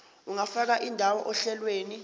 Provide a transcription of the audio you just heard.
ungafaka indawo ohlelweni